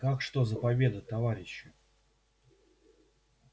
как что за победа товарищи